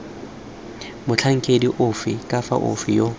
motlhankedi ofe kana ofe yo